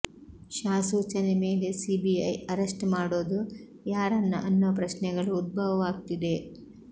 ಶಾ ಸೂಚನೆ ಮೇಲೆ CBI arrest ಮಾಡೋದು ಯಾರನ್ನ ಅನ್ನೋ ಪ್ರಶ್ನೆಗಳು ಉದ್ಭವವಾಗ್ತಿದೆ